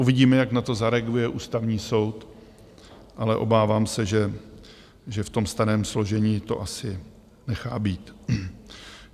Uvidíme, jak na to zareaguje Ústavní soud, ale obávám se, že v tom starém složení to asi nechá být.